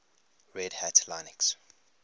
red hat linux